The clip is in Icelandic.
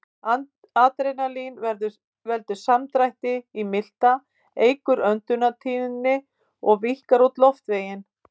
Adrenalín veldur samdrætti í milta, eykur öndunartíðni og víkkar út loftveginn.